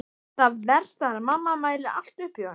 Það versta er að mamma mælir allt upp í honum.